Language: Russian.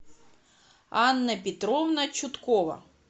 анна петровна чуткова